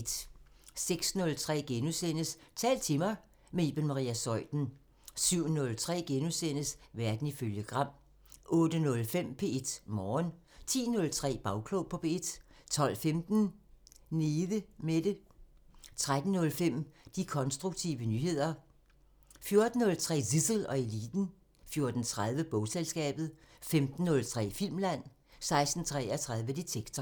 06:03: Tal til mig – med Iben Maria Zeuthen * 07:03: Verden ifølge Gram * 08:05: P1 Morgen 10:03: Bagklog på P1 12:15: Nede Mette 13:03: De konstruktive nyheder 14:03: Zissel og Eliten 14:30: Bogselskabet 15:03: Filmland 16:33: Detektor